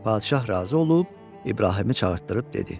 Padşah razı olub İbrahimi çağırtdırıb dedi: